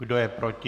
Kdo je proti?